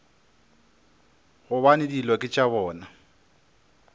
gobane dilo ke tša bona